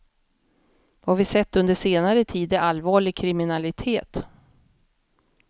Vad vi sett under senare tid är allvarlig kriminalitet.